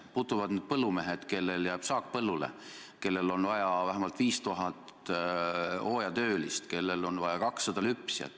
Puutuvad need põllumehed, kellel jääb saak põllule, kellel on vaja vähemalt 5000 hooajatöölist, kellel on vaja 200 lüpsjat.